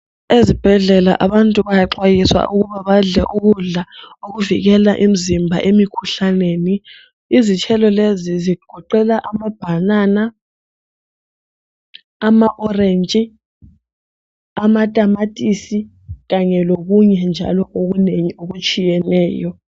Ezibhedlela abantu bayaxwayiswa ukuba badle ukudla okuvikela imzimba emikhuhlaneni. Izithelo lezi zigoqela amabhanana, ama orentshi, amatamatisi kanye lokunye njalo okunengi okutshiyeneyo.